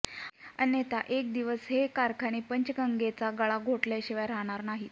अन्यथा एक दिवस हे कारखाने पंचगंगेचा गळा घोटल्याशिवाय राहणार नाहीत